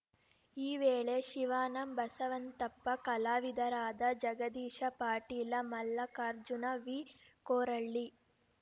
ಈ ವೇಳೆ ಶಿವಾನಂ ಬಸವಂತಪ್ಪ ಕಲಾವಿದರಾದ ಜಗದೀಶ ಪಾಟೀಲ ಮಲ್ಲಕಾರ್ಜುನ ವಿ ಕೊರಳ್ಳಿ